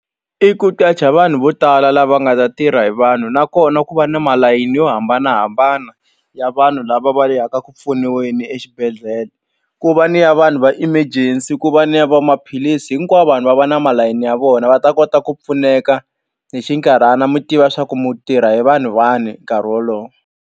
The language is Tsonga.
I ku qacha vanhu vo tala lava nga ta tirha hi vanhu nakona ku va ni malayini yo hambanahambana ya vanhu lava va yaka eku pfuniweni exibedhlele ku va ni ya vanhu va emergency ku va ni ya va maphilisi hinkwavo vanhu va va na malayini ya vona va ta kota ku pfuneka hi xinkarhana mi tiva swa ku mu tirha hi vanhu vani nkarhi wolowo.